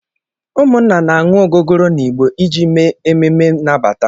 Ụmụnna na-aṅụ ogogoro na igbo iji mee ememe nnabata.